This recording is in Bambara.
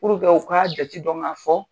Purke u k'a jate dɔn k'a fɔ